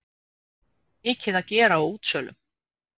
Mikið að gera á útsölum